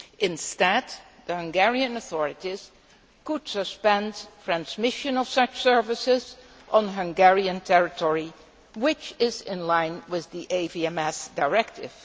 Instead the Hungarian authorities could suspend transmission of such services on Hungarian territory, which is in line with the AVMS Directive.